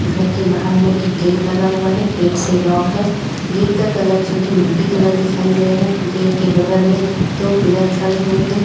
घर के बाहर में एक गेट लगा हुआ है गेट से लॉक है गेट का कलर जो की मल्टी कलर दिखाई दे रहा है गेट के बगल में दो पिलर खड़े हुए हैं।